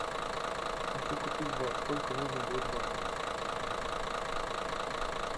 хочу купить бат сколько нужно будет батов